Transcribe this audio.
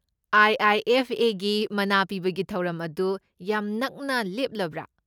IIFA. ꯒꯤ ꯃꯅꯥ ꯄꯤꯕꯒꯤ ꯊꯧꯔꯝ ꯑꯗꯨ ꯌꯥꯝ ꯅꯛꯅ ꯂꯦꯞꯂꯕ꯭ꯔꯥ?